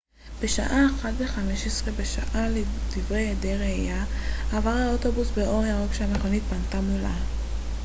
בשעה 01:15 בשבת לדברי עדי ראייה עבר האוטובוס באור ירוק כשהמכונית פנתה מולה